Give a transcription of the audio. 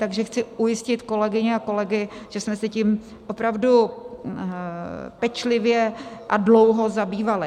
Takže chci ujistit kolegyně a kolegy, že jsme se tím opravdu pečlivě a dlouho zabývali.